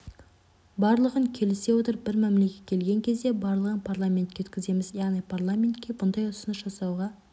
барлығын келісе отырып бір мәмілеге келген кезде барлығын парламентке өткіземіз яғни парламентке бұндай ұсыныс жасауға